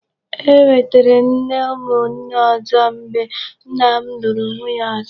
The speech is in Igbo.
E nwètèrè m nne umu nne ọzọ mgbe nna m lụrụ nwunye ọzọ.